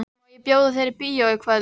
Má ég bjóða þér í bíó í kvöld?